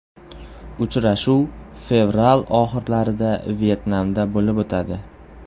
Uchrashuv fevral oxirlarida Vyetnamda bo‘lib o‘tadi.